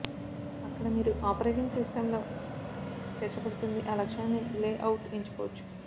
అక్కడ మీరు operating system తో చేర్చబడుతుంది ఆ లక్ష్యాన్ని లేఅవుట్ ఎంచుకోవచ్చు